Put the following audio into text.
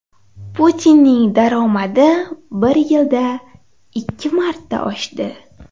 Putinning daromadi bir yilda ikki marta oshdi.